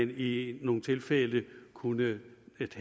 i nogle tilfælde kunne